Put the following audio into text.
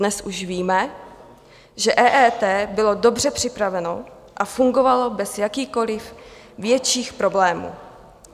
Dnes už víme, že EET bylo dobře připraveno a fungovalo bez jakýchkoliv větších problémů.